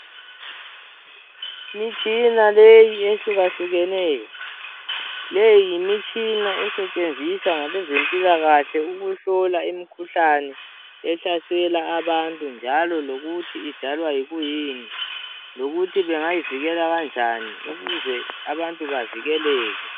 Imitshina leyi ehlukahlukeneyo. Le yimitshina esetshenziswa ngabezempilakahle ukuhlola imikhuhlane ehlasela abantu, njalo lokuthi idalwa yikuyini lokuthi bengayivikela kanjani ukuze abantu bavikeleke.